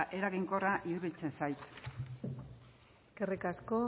eraginkorra iruditzen zait eskerrik asko